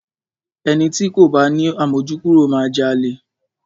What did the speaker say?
Ẹni ti kò bá ni àmójúkúrò máa jalè.